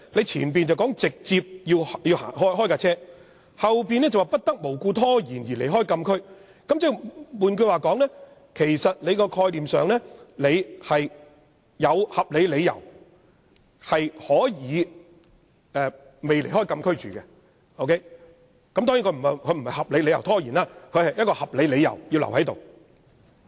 前面說"直接駛往"，後面卻說"不作無故拖延而離開禁區"，換言之，在概念上如有合理理由，是可以暫不離開禁區，當然不是有合理理由拖延，而是有合理理由而留下。